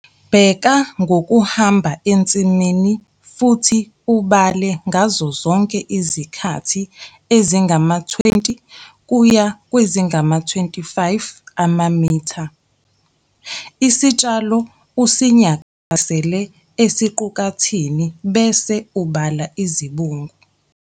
Bheka ngokuhamba ensimini futhi ubale ngazozonke izikhathi ezingama-20 kuya kwezingama-25 amamitha. Isitshalo usinyakazisele esiqukathini bese ubala izibungu.